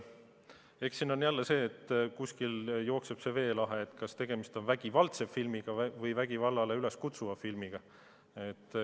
Eks siin on jälle see teema, et kust jookseb see veelahe, kas tegemist on vägivaldse filmiga või vägivallale üleskutsuva filmiga.